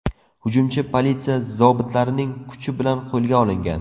Hujumchi politsiya zobitlarining kuchi bilan qo‘lga olingan.